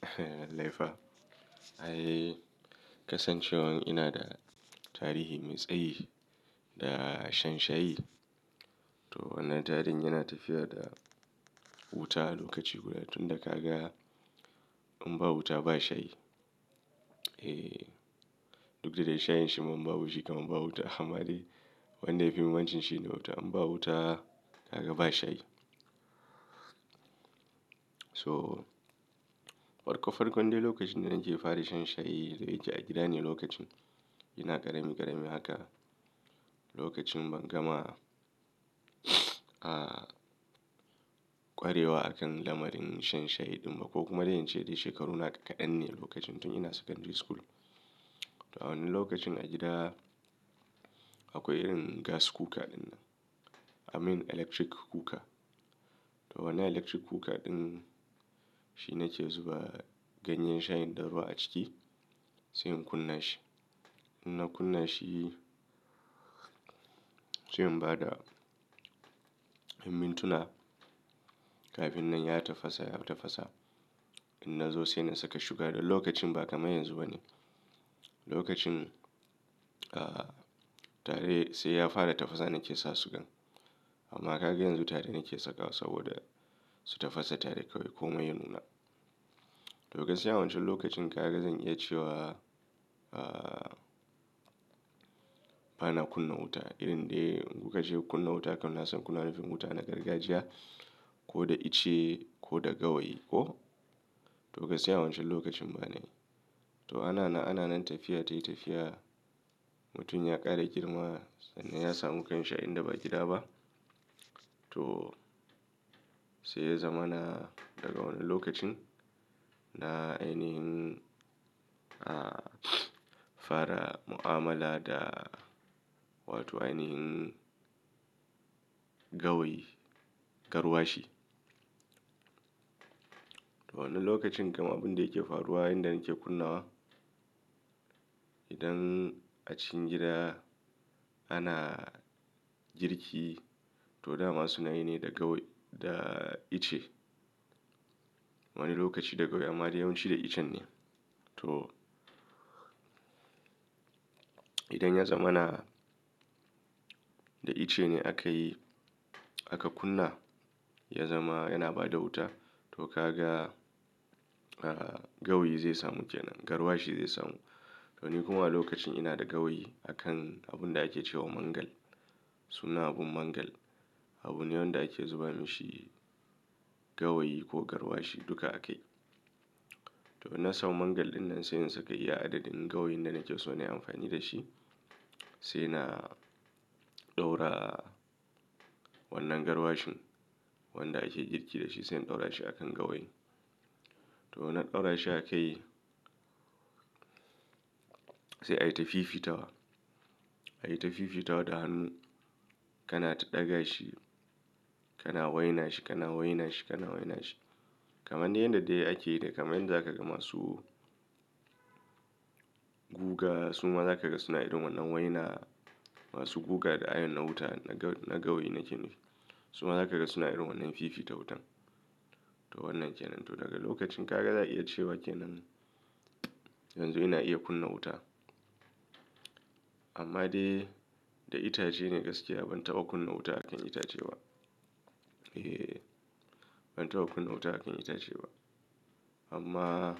Kaifa. Ai kasancewan ina da tarihi mai tsayi da shan shayi. To wannan tarihin yana tafiya da wuta lokaci guda tun da ka ga in ba wuta ba shayi. Eh duk da dai shayin shi ma in ba wuta ba shayi kam in ba wuta amma dai wanda yafi muhimmanci shi ne wuta. In ba wuta ka ga ba shayi. So farko farkon dai lokacin da nake fara shan shayi da yi ke a gida ne lokacin. Ina ƙarami ƙarami haka lokacin ban gama a kwarewa akan lamarin shan shayi ɗin ba ko kuma dai in ce dai shekaru nawa kaɗan ne lokacin tun ina secondary school. To a wannan lokacin a gida akwai irin gas cooker dinnan. I mean electric cooker. To wannan electric cooker ɗin shi na ke zuba ganyen shayin da ruwa a ciki sai in kunna shi. In na kunna shi sai in ba da in mintuna kafin nan ya tafasa ya tafasa. In na zo sai na saka sugar da lokacin ba kamar yanzu ba ne. Lokacin a tare sai ya fara tafasa na ke sa sugan amma kaga yanzu tare na ke sakawa saboda su tafasa tare kawai ko mai ya nuna. Lokacin a wancan lokacin ka ga zan iya cewa, a bana kunna wuta irin dai kuka ce kunna wuta kam na san kuna nufin wuta na gargajiya ko da ice ko da gawayi mo to gaskiya a wancan lokacin ba na yi. To ana nan ana nan tafiya tayi tafiya, mutum ya ƙara girma ya samu kanshi a inda ba gida ba to sai ya zama na daga wannan lokacin na ainihin a fara mu'amala da wato ainihin gawayi, garwashi. To wannan lokacin kamar abun da yake faruwa yayinda nake kunnawa idan a cikin gida ana girki to dama suna yi ne da gawayi da ice. Wani lokaci da gawayi amma dai yawanci da iccenne. To idan ya zamana da ice ne aka yi aka kunna ya zama yana ba da wuta to ka ga a gawayi zai samu kenan garwashi zai samu. To ni kuma a lokacin ina da gawayi akan abun da ake cewa mangal sunan abun mangal. Abune wanda ake zuba mashi gawayi ko garwashi duka a kai. To in na samu mangal ɗinnan sai in saka iya adadin gawayin da nake so na yi amfani da shi sai na ɗaura wannan garwashin wanda ake girki da shi sai in ɗaura shi akan gawayi. To na ɗaura shi a kai sai ayi tafifitawa. Ayi ta fifitawa da hannu kana ta ɗaga shi kana waina shi kana waina shi kana waina shi kamar yanda dai ake yi da kamar yanda za ka ga masu guga su ma za ka ga suna irin wannan waina masu guga da ayon na wuta na ga na gawayi nake nufi. Su ma za ka ga suna irin wannan fifita wutan. To wannan kenan to daga lokacin ka ga za a iya cewa kenan yanzu ina iya kunna wuta. Amma dai da itace ne gaskiya ban taɓa kunna wuta a kan itace ba. Eh ban taɓa kunna wuta a kan itace ba. Amma